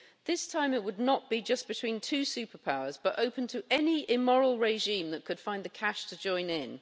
This time, it would not be just between two superpowers, but open to any immoral regime that could find the cash to join in.